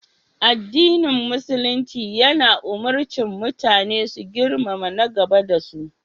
Addinin Musulumci ya ummarci mutane su girmama na gaba da su.